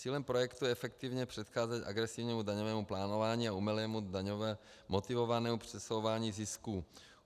Cílem projektu je efektivně předcházet agresivnímu daňovému plánování a umělému daňově motivovanému přesouvání zisků.